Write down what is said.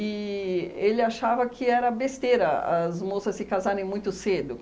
E ele achava que era besteira as moças se casarem muito cedo.